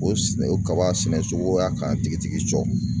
O o kaba sɛnɛ cogo y'a k'an tigi tigi cɔ.